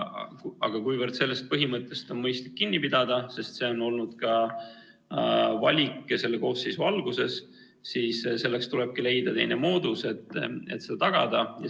Aga kuivõrd sellest põhimõttest on mõistlik kinni pidada, sest selline oli valik ka praeguse koosseisu alguses, siis tulebki leida teine moodus, et seda tagada.